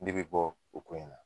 Ne be bɔ o ko in na